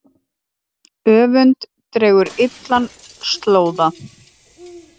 Öfund dregur illan slóða.